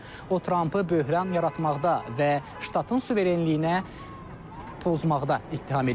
O Trampı böhran yaratmaqda və ştatın suverenliyinə pozmaqda ittiham edib.